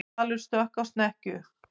Hvalur stökk á snekkju